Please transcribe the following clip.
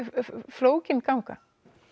flókin ganga